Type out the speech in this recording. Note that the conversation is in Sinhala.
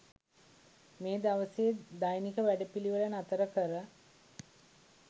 මේ දවසේ දෛනික වැඩපිළිවෙළ නතර කර